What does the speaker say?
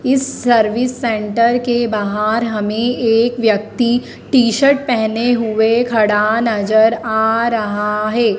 इस service centre के बाहर हमें एक व्यक्ति टी-शर्ट पहने हुए खड़ा नजर आ रहा है।